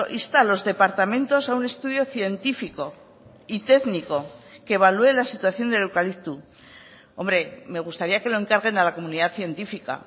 insta a los departamentos a un estudio científico y técnico que evalué la situación del eucalipto hombre me gustaría que lo encarguen a la comunidad científica